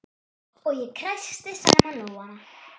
Og ég kreisti saman lófana.